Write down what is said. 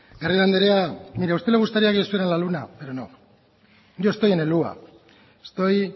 garrido anderea a usted le gustaría que yo estuviera en la luna pero no yo estoy en el hua estoy